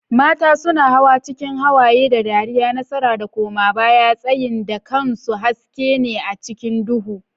Mata suna hawa cikin hawaye da dariya, nasara da koma baya, tsayin dakansu haske ne a cikin duhu.